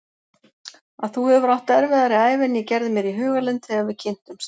Að þú hefur átt erfiðari ævi en ég gerði mér í hugarlund þegar við kynntumst.